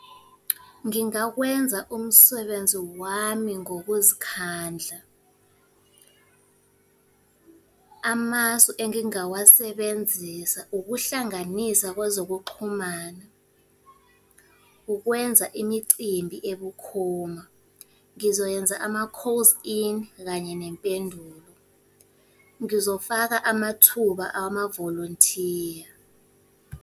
Ngingakwenza umsebenzi wami ngokuzikhandla. Amasu engingawasebenzisa ukuhlanganisa kwezokuxhumana. Ukwenza imicimbi ebukhoma. Ngizoyenza ama-calls in, kanye nempendulo. Ngizofaka amathuba amavolontiya.